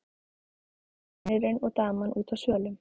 Vinurinn og daman úti á svölum.